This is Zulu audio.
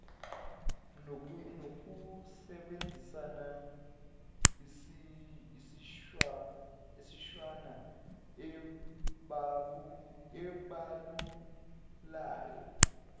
nokusebenzisa imishwana ebalulayo